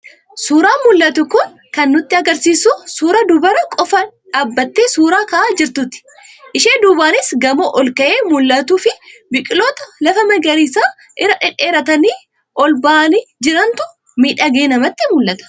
Suuraan mul'atu kun kan nutti argisiisu suuraa dubara qofaa dhaabatee suuraa ka'aa jirtuuti. Ishee duubaanis gamoo olka'ee mul'atuu fi biqiltoota lafa magariisa irra dhedheeratanii ol ba'anii jirantu miidhagee namatti mul'ata.